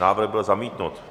Návrh byl zamítnut.